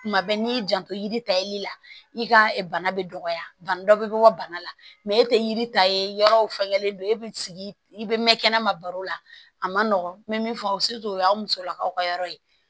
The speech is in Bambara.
Tuma bɛɛ n'i y'i janto yiri ta yeli la i ka bana bɛ dɔgɔya bana dɔ bɛ bɔ bana la e tɛ yiri ta ye yɔrɔ fɛngɛlen don e bɛ sigi i bɛ mɛn kɛnɛma baro la a ma nɔgɔn n bɛ min fɔ o y'aw musolakaw ka yɔrɔ ye